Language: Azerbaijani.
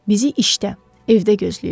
Bizi işdə, evdə gözləyir.